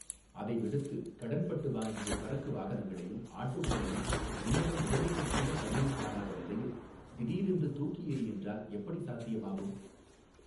அதைவிடுத்து கடன்பட்டு வாங்கிய சரக்கு வாகனங்களையும் ஆட்டோக்களையும் இன்னமும் முதலீட்டைக்கூட கண்ணில் காணாத நிலையில் திடீரென தூக்கியெறி என்றால் எப்படி சாத்தியமாகும்.